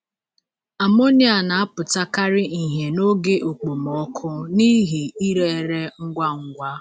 Amonia na-apụtakarị ihe n’oge okpomọkụ n'ihi ire ere ngwa ngwa.